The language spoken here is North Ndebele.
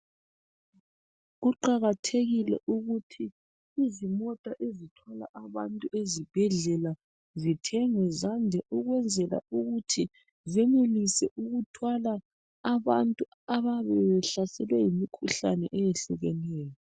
Kuqakathekile ukuthi izimota ezithwala abantu ezibhedlela zithengwe zande ukwenzela ukuthi zenelise ukuthwala abantu ababe behlaselwe yimikhuhlane eyehlukeneyo.